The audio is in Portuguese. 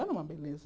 Era uma beleza.